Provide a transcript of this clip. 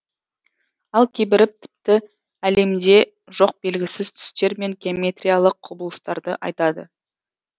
ал кейбірі тіпті әлемде жоқ белгісіз түстер мен геометриялық құбылыстарды айтады